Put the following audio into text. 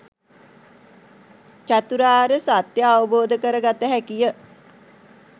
චතුරාර්ය සත්‍යය අවබෝධ කරගත හැකිය.